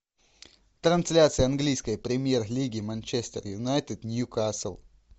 трансляция английской премьер лиги манчестер юнайтед ньюкасл